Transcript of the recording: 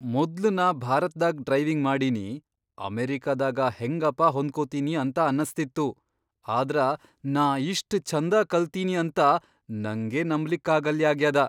ಮೊದ್ಲ್ ನಾ ಭಾರತ್ದಾಗ್ ಡ್ರೈವಿಂಗ್ ಮಾಡಿನಿ ಅಮೆರಿಕಾದಾಗ ಹೆಂಗಪಾ ಹೊಂದ್ಕೋತಿನಿ ಅಂತ ಅನಸ್ತಿತ್ತು, ಆದ್ರ ನಾ ಇಷ್ಟ್ ಛಂದ ಕಲ್ತಿನಿ ಅಂತ ನಂಗೇ ನಂಬ್ಲಿಕ್ಕಾಗಲ್ಲಾಗ್ಯಾದ!